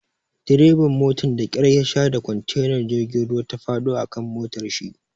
Dreban motan da kyar yasha da kontenar jirgin ruwa ta faɗo a kan motarshi.